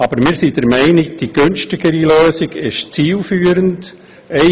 Aber wir sind der Meinung, dass die preisgünstigere Lösung zielführender ist: